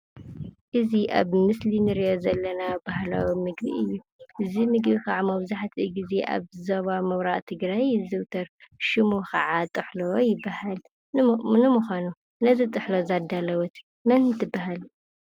እዚ አብ ምስሊ እንሪኦ ዘለና ባህላዊ ምግቢ እዩ። እዚ ምግቢ ካዓ መብዛህትኡ ጊዜ አብ ዞባ ምብራቅ ትግራይ ይዝውተር። ሽሙ ካዓ ጥሕሎ ይባሃል። ንምኳኑ ነዚ ጥሕሎ ዘዳለወት መን ትባሃል ?